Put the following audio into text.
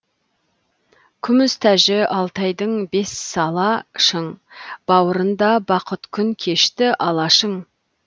күміс тәжі алтайдың бессала шың бауырында бақыт күн кешті алашың